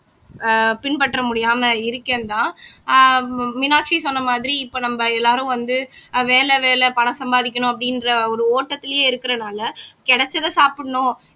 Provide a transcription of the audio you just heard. ஆஹ் பின்பற்ற முடியாம இருக்கேன்தான் ஆஹ் மீனாட்சி சொன்ன மாதிரி இப்ப நம்ம எல்லாரும் வந்து ஆஹ் வேலை வேலை பணம் சம்பாதிக்கணும் அப்படின்ற ஒரு ஓட்டத்திலேயே இருக்கறனால கிடைச்சதை சாப்பிடணும்